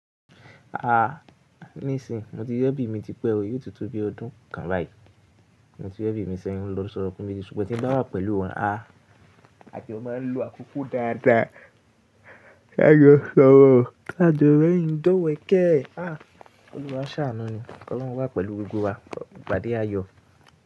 A níìsín mo ti rí ẹbí mi ti pé o yóò ti to bí ọdún kan báyìí. Mo ti rí ẹbí mi sẹ́yìn lọ́ sọ̀rọ̀ fún mi jẹ́ ṣùgbọ́n tí ń bá wà pẹ̀lú wọn a àti ó má ń lo àkókò dáadáa. Ká jọ sọ̀rọ̀, ká jọ rẹ́rìn ín tó wẹkẹ́. A Ọluwa a ṣàánú ẹ ní, Ọlọ́run wá pẹ̀lú gbogbo wa, ìpàdé àyò.